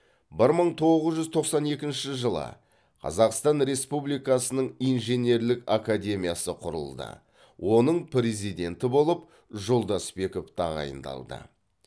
бір мың тоғыз жүз тоқсан екінші жылы қазақстан республикасының инженерлік академиясы құрылды оның президенті болып жолдасбеков тағайындалды